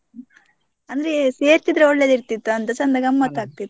ಅಂದ್ರೆ ಸೇರ್ತಿದ್ರೆ ಒಳ್ಳೆದ್ ಇರ್ತಿತ್ತು ಅಂತ ಚೆಂದ ಗಮ್ಮತ್ ಆಗತ್ತಿತ್ತು.